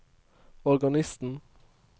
organisten